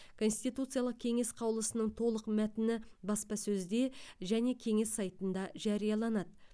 конституциялық кеңес қаулысының толық мәтіні баспасөзде және кеңес сайтында жарияланады